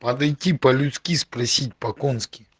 подойти по-людски спросить по конски